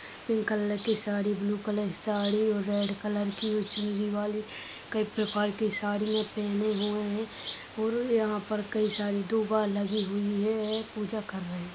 Pink colour की sari blue colour की साड़ी और रेड कलर की चुनरी वाली कई परकार की साड़ीयाँ पहने हुए हैं और यहाँ पर कई सारी दुबा लगी हुई हैं पूजा कर रहे हैं।